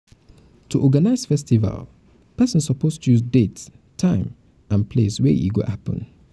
to organize festival persin suppose choose um date time um and place wey e go happen um